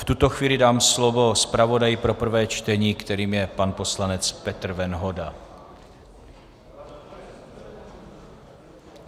V tuto chvíli dám slovo zpravodaji pro prvé čtení, kterým je pan poslanec Petr Venhoda.